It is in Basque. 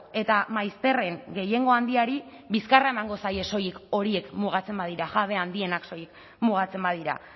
eta maizterren gehiengo handiari bizkarra emango zaie soilik horiek mugatzen badira jabe handienak soilik mugatzen badira